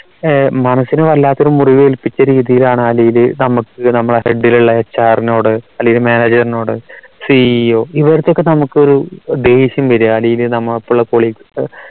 ഏർ മനസ്സിന് വല്ലാത്തൊരു മുറിവേൽപ്പിച്ച രീതിയിലാണ് ഇവരെ നമുക്ക് നമ്മുടെ head ലുള്ള HR നോട് അല്ലേൽ manager നോട് CEO ഇവർക്കൊക്കെ നമുക്കൊരു ദേഷ്യം വരിക അല്ലേൽ നമ്മൾ ഒപ്പം ഉള്ള colleagues